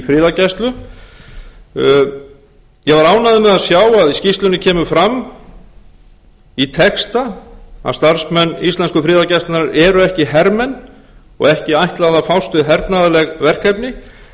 friðargæslu ég var ánægður með að sjá að í skýrslunni kemur fram í texta að starfsmenn í slensku friðargæslunnar eru ekki hermenn og ekki ætlað að fást við hernaðarleg verkefni